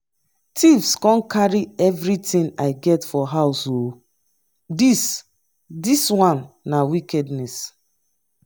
thieves come carry everything i get for house oo. this this one na wickedness